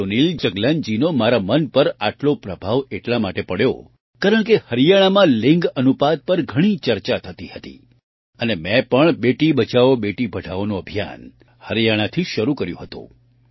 સુનિલ જગલાનજીનો મારા મન પર આટલો પ્રભાવ એટલા માટે પડ્યો કારણકે હરિયાણામાં લિંગ અનુપાત પર ઘણી ચર્ચા થતી હતી અને મેં પણ બેટી બચાઓ બેટી પઢાઓનું અભિયાન હરિયાણાથી જ શરૂ કર્યું હતું